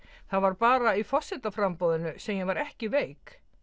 það var bara í sem ég var ekki veik